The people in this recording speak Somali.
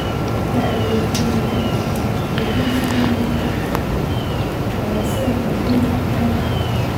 Da'da (oo ka weyn da'da konton) iyo jinsiga (inuu rag ah) ayaa sidoo kale door ka ciyaari kara.